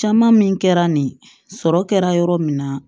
Caman min kɛra nin sɔrɔ kɛra yɔrɔ min na